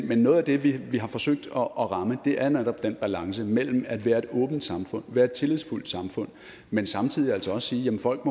men noget af det vi har forsøgt at ramme er netop den balance mellem at være et åbent samfund være et tillidsfuldt samfund men samtidig altså også sige at folk